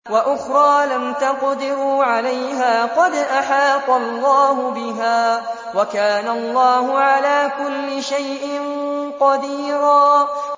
وَأُخْرَىٰ لَمْ تَقْدِرُوا عَلَيْهَا قَدْ أَحَاطَ اللَّهُ بِهَا ۚ وَكَانَ اللَّهُ عَلَىٰ كُلِّ شَيْءٍ قَدِيرًا